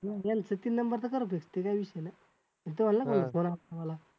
यांचं तीन number च करूदेत ते काय विषय नाही. ते